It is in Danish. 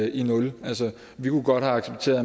i nul vi kunne godt have accepteret